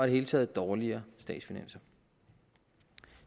det hele taget dårligere statsfinanser